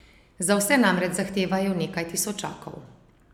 Za vse namreč zahtevajo nekaj tisočakov!